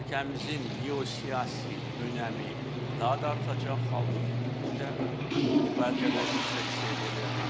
Ölkəmizin geosiyasi önəmi daha da artacaq, halbuki bu gün də kifayət qədər yüksək səviyyədədir.